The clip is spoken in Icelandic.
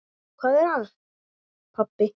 Hvað er það, pabbi?